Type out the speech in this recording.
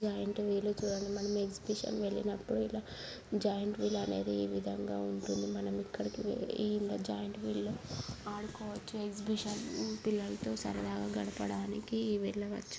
జేయింటువిల్లు మనం ఎక్సిబిషన్ వెళ్ళినప్పుడు ఇలా జేయింటువిల్లు ఆనేది ఈ విధంగా ఉంటుంది మనం ఇక్కడికి వెళ్లి ఇలా జేయింటువిల్లు ఆడుకో-- ఎక్సిబిషన్ పిల్లలతో సరదాగా గడపడానికి వెళ్ళావోచ్చు.